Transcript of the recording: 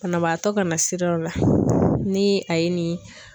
Banabaatɔ ka na sira dɔ la ni a ye nin.